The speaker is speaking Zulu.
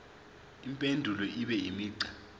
impendulo ibe imigqa